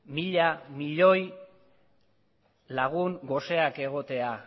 mila milioi lagun goseak egotea